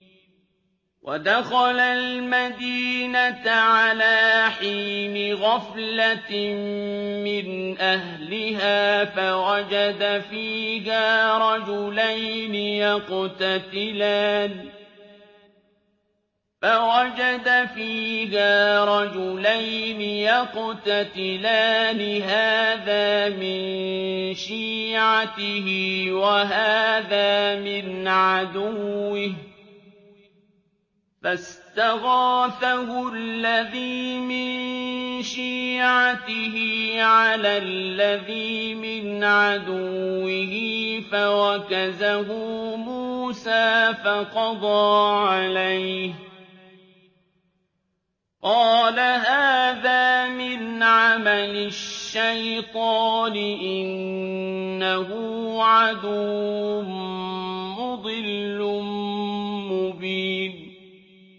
وَدَخَلَ الْمَدِينَةَ عَلَىٰ حِينِ غَفْلَةٍ مِّنْ أَهْلِهَا فَوَجَدَ فِيهَا رَجُلَيْنِ يَقْتَتِلَانِ هَٰذَا مِن شِيعَتِهِ وَهَٰذَا مِنْ عَدُوِّهِ ۖ فَاسْتَغَاثَهُ الَّذِي مِن شِيعَتِهِ عَلَى الَّذِي مِنْ عَدُوِّهِ فَوَكَزَهُ مُوسَىٰ فَقَضَىٰ عَلَيْهِ ۖ قَالَ هَٰذَا مِنْ عَمَلِ الشَّيْطَانِ ۖ إِنَّهُ عَدُوٌّ مُّضِلٌّ مُّبِينٌ